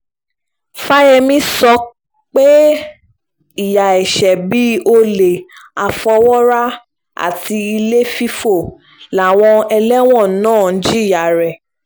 fàyẹ̀mí sọ pé ìyà ẹ̀ṣẹ̀ bíi olè àfọwọ́rá àti ilé fífọ́ làwọn ẹlẹ́wọ̀n náà ń jìyà rẹ̀